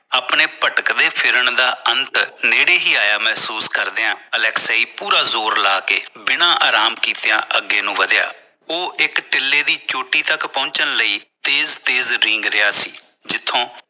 ਆਪਣੇ ਪਟਕਦੇ ਫਿਰਨ ਦਾ ਅੰਤ ਨੇੜੇ ਹੀ ਆਇਆ ਮਹਿਸੂਸ ਕਰਦਿਆਂ ਅਲੈਕਸਾਈ ਪੂਰਾ ਜ਼ੋਰ ਲਾਕੇ ਬਿਨਾਂ ਆਰਾਮ ਕੀਤੀਆਂ ਅੱਗੇ ਨੂੰ ਵਧਿਆ ਉਹ ਇਕ ਦਿੱਲੀ ਦੀ ਚੋਟੀ ਤੱਕ ਪਹੁੰਚਣ ਲਈ ਤੇਜ਼ ਤੇਜ਼ ਰਿੰਗ ਰਿਹਾ ਸੀ